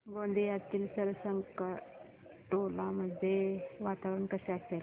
गोंदियातील सरकारटोला मध्ये वातावरण कसे असेल